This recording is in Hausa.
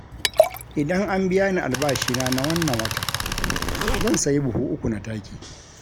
Idan an biya ni albashina na wannan watan zan siya buhu uku na taki